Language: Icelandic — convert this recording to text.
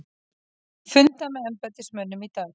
Funda með embættismönnum í dag